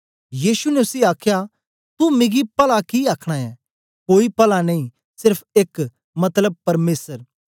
यीशु ने उसी आखया तू मिगी पला कि आखना ऐं कोई पला नेई सेर्फ एक मतलब परमेसर